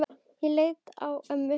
Jóra leit á ömmu.